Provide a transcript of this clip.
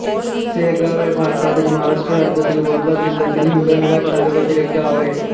सेगाव हे भारतातील महाराष्ट्र राज्यातील वर्धा जिल्ह्यातील हिंगणघाट तालुक्यातील एक गाव आहे